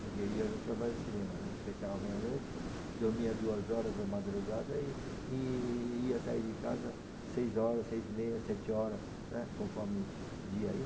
Porque eu ia no trabalho de cinema, né, fechava meia-noite, uhum, dormia duas horas da madrugada e e ia sair de casa seis horas, seis e meia, sete horas, né, conforme o dia ai.